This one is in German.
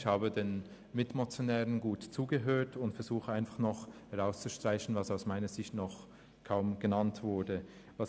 Ich habe den Mitmotionären gut zugehört und versuche nun, herauszustreichen, was aus meiner Sicht noch kaum genannt worden ist.